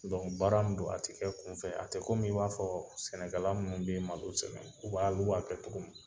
baara min don, a te kɛ kun fɛ, a tɛ kɔmi i b'a fɔɔ sɛnɛkɛla nunnu de ye malo sɛnɛ. U b'a lu b'a kɛ togo min.